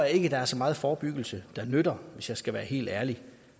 ikke der er så meget forebyggelse der nytter hvis jeg skal være helt ærlig